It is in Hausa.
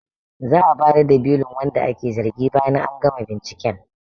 Za'a bayar da belin wanda ake zargi bayan an gama binciken